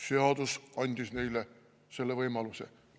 Seadus andis neile selle võimaluse.